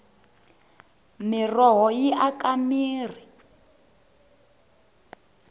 miroho yi aka mirhi